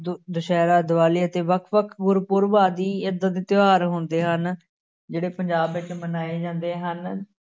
ਦੁਸਿਹਰਾ ਦਿਵਾਲੀ ਅਤੇ ਵੱਖ ਵੱਖ ਗੁਰਪੁਰਬ ਆਦਿ ਏਦਾਂ ਦੇ ਤਿਉਹਾਰ ਹੁੰਦੇ ਹਨ, ਜਿਹੜੇ ਪੰਜਾਬ ਵਿਚ ਮਨਾਏ ਜਾਂਦੇ ਹਨ।